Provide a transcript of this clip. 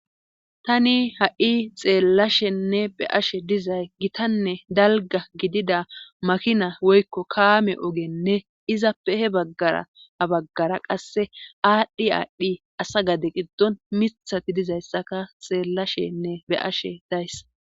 tani ha7i xeellashenne be ashe dizay gitanne dalga gidida makina woykko kaame ogenne izappe he baggara baggara qasse aadhdhi aadhdhi asa gade qiddon mithati dizayssaka xeellashenne be ashe dayssa